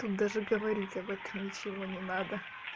тут даже говорить об этом ничего не надо